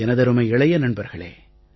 எனதருமை இளைய நண்பர்களே